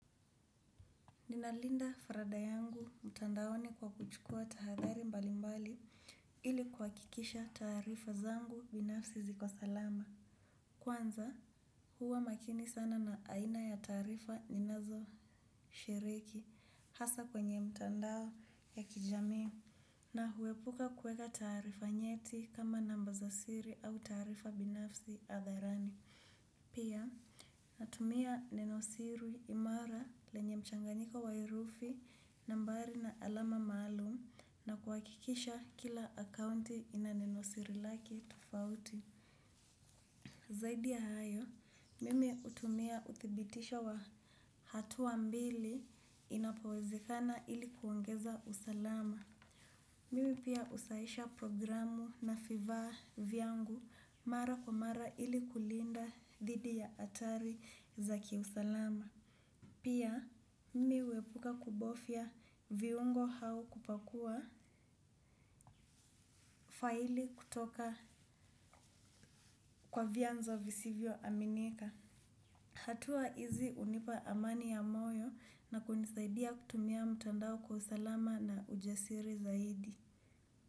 Ninalinda faraga yangu mtandaoni kwa kuchukua tahadhari mbali mbali ili kuhakikisha taarifa zangu binafsi ziko salama. Kwanza huwa makini sana na aina ya taarifa ninazo shiriki hasa kwenye mtandao ya kijami na huepuka kuweka taarifa nyeti kama namba za siri au taarifa binafsi hadharani. Pia, natumia nenosiri imara lenye mchanganiko wa herufi nambari na alama maalum na kuhakikisha kila akaunti ina nenosiri lake tofauti. Zaidi ya hayo, mimi hutumia uthibitisho wa hatua mbili inapowezekana ili kuongeza usalama. Mimi pia husahisha programu na vifaa vyangu mara kwa mara ili kulinda dhidi ya hatari za kiusalama. Pia mimi huepuka kubofya viungo au kupakua faili kutoka kwa vyanzo visivyo aminika. Hatua hizi hunipa amani ya moyo na kunisaidia kutumia mtandao kwa usalama na ujasiri zaidi.